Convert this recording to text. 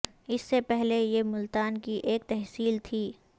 اس سے پہلے یہ ملتان کی ایک تحصیل تھی